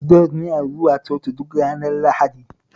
Jon yana zuwa Coci duk ranar Lahadi